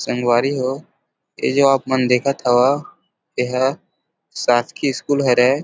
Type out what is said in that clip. संगवारी हो ए जो आप मन देखत हव ए हा शासकीय स्कूल हरे।